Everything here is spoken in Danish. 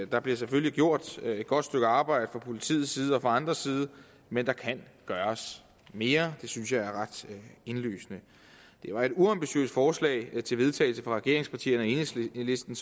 der bliver selvfølgelig gjort et godt stykke arbejde fra politiets side og fra andres side men der kan gøres mere det synes jeg er ret indlysende det var et uambitiøst forslag til vedtagelse fra regeringspartierne og enhedslisten